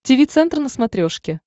тиви центр на смотрешке